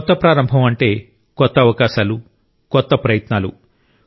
కొత్త ప్రారంభం అంటే కొత్త అవకాశాలు కొత్త ప్రయత్నాలు